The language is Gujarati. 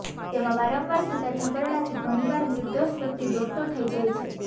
જેમાં વારંવાર થતા છબરડાથી ઘણીવાર નિર્દોષ વ્યક્તિ દોડતો થઈ જાય છે